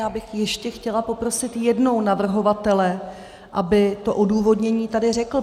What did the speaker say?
Já bych ještě chtěla poprosit jednou navrhovatele, aby to odůvodnění tady řekl.